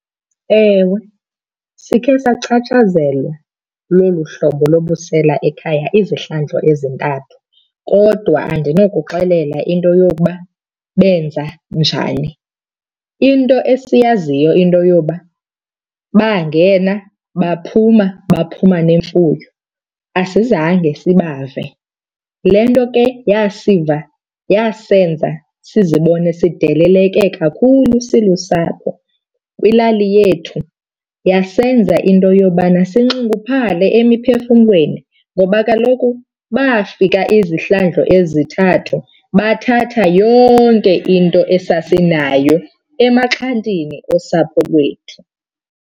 Ewe, sikhe sachatshazelwa lolu hlobo lobusela ekhaya izihlandlo ezintathu kodwa andinokuxelela into yokuba benza njani. Into esiyaziyo into yoba bangena baphuma, baphuma nemfuyo. Asizange sibave. Yile nto ke yasiva yasenza sizibone sideleleke kakhulu silusapho kwilali yethu, yasenza into yobana sinxunguphale emiphefumlweni. Ngoba kaloku bafika izihlandlo ezithathu bathatha yonke into esasinayo emaxhantini osapho lwethu.